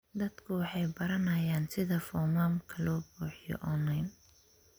Dadku waxay baranayaan sida foomamka loo buuxiyo online.